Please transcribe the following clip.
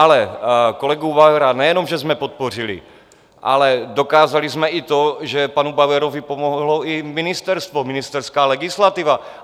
Ale kolegu Bauera nejenom že jsme podpořili, ale dokázali jsme i to, že panu Bauerovi pomohlo i ministerstvo, ministerská legislativa.